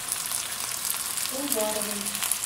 уваровой